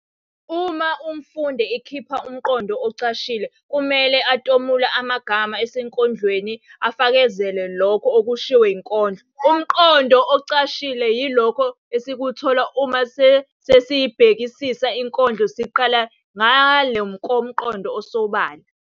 Uma umfundi ekhipha umqondo ocashile kumele atomule amagama esenkondlweni afakazela lokho okushiwo yinkondlo. Umqondo ocashile yilokho esikuthola uma sesiyibhekisisa inkondlo seqela ngale komqondo osobala.